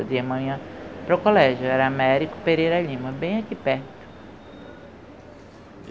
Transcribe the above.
de manhã, para o colégio, era Américo Pereira Lima, bem aqui perto.